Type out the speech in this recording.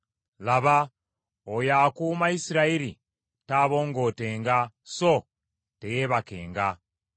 Laba, oyo akuuma Isirayiri taabongootenga so teyeebakenga.